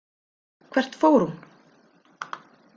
Hvert fór hún?